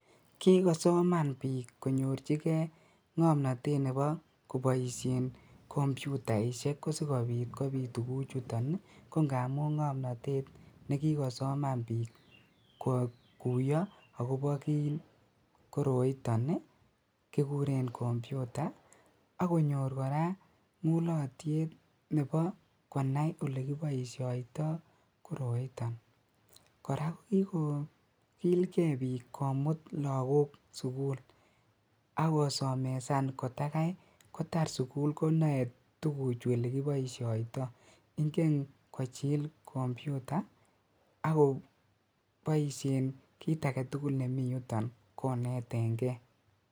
Kikosoman biik konyorchikee ng'omnotet nebo koboishen kompyutaishek ko sikobiit kobiit tukuchuton ii kong'amun ng'omnotet nekikosoman biik kokuyoo akoboo kii koroiton kikuren kompyuta akonyor kora ng'ulotyet nebo konai elekiboishoito koroiton, kora kokikokilke biik komut lokok sukul akosomesan kotakai kotar sukul konoe tukuchu elekiboishoito, ing'en kochil kompyuta akoboishen kiit aketukul nemiyuton koneteng'ee.